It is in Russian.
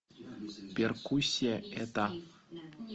перкуссия это